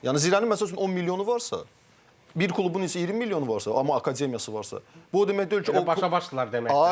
Yəni Zirənin məsəl üçün 10 milyonu varsa, bir klubun isə 20 milyonu varsa, amma akademiyası varsa, bu o demək deyil ki, o Bərabər başdırlar demək.